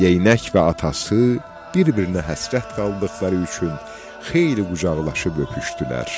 Geynək və atası bir-birinə həsrət qaldıqları üçün xeyli qucaqlaşıb öpüşdülər.